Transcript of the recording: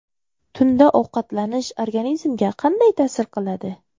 Tunda ovqatlanish organizmga qanday ta’sir qiladi?.